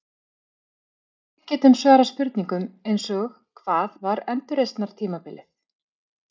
Við getum svarað spurningum eins og Hvað var endurreisnartímabilið?